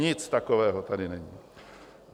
Nic takového tady není!